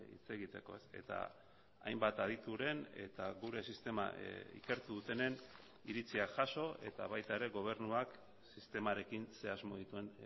hitz egiteko eta hainbat adituren eta gure sistema ikertu dutenen iritzia jaso eta baita ere gobernuak sistemarekin ze asmo dituen